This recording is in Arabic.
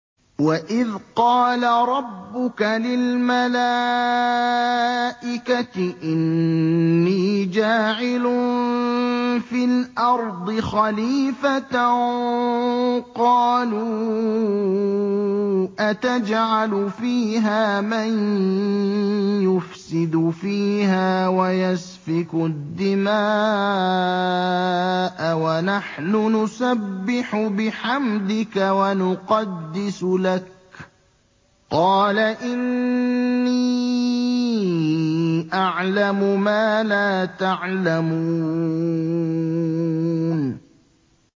وَإِذْ قَالَ رَبُّكَ لِلْمَلَائِكَةِ إِنِّي جَاعِلٌ فِي الْأَرْضِ خَلِيفَةً ۖ قَالُوا أَتَجْعَلُ فِيهَا مَن يُفْسِدُ فِيهَا وَيَسْفِكُ الدِّمَاءَ وَنَحْنُ نُسَبِّحُ بِحَمْدِكَ وَنُقَدِّسُ لَكَ ۖ قَالَ إِنِّي أَعْلَمُ مَا لَا تَعْلَمُونَ